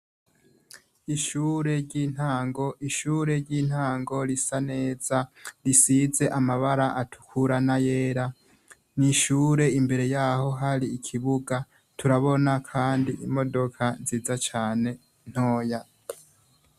Ishure ry'intango; ishure ry'intango risa neza risize amabara atukura, n'ayera. Ni ishure imbere yaho hari ikibuga turabona kandi imodoka nziza cane ntoya.